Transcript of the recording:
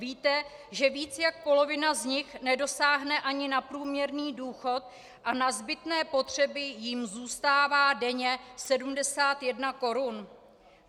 Víte, že víc než polovina z nich nedosáhne ani na průměrný důchod a na zbytné potřeby jim zůstává denně 71 korun?